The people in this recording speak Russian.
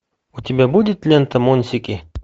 у тебя будет лента монсики